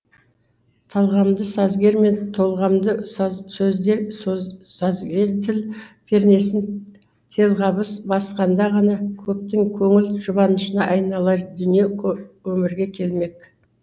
талғамды сазгер мен толғамды сазгер де пернесін телғабыс басқанда ғана көптің көңіл жұбанышына айналар дүние өмірге келмек